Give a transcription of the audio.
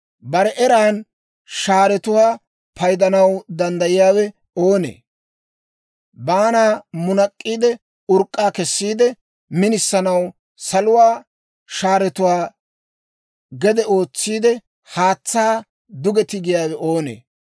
Bare eran shaaretuwaa paydanaw danddayiyaawe oonee? Baanaa munak'k'iide, urk'k'aa kessiide, minisanaw saluwaa shaaretuwaa gede ootsiide, haatsaa duge tigiyaawe oonee?